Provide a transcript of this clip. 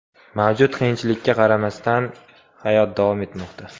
Mavjud qiyinchilikka qaramasdan, hayot davom etmoqda.